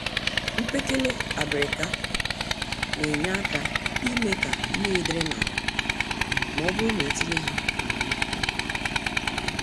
Mkpekele abịrịka nenye àkà ime ka mmiri dịrị n'ala, mọbụrụ netinye ha n'ala ubi.